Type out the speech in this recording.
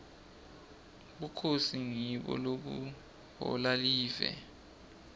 bukhosi ngibo lobuhola live